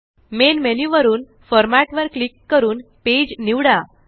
main menu वरून Formatवर click करून पेज निवडा